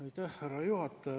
Aitäh, härra juhataja!